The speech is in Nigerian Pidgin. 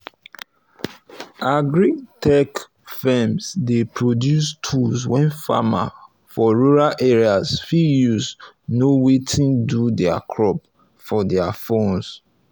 agri-tech firms dey produce tools wey farmers for rural areas fit use know wetin do their crops for their phones